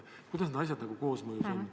Kuidas need asjad koosmõjus on?